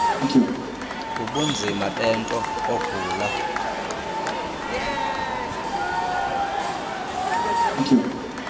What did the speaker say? kubunzima bento ogula